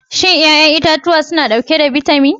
Shin 'ya'yan itatuwa suna dauke da bitamin?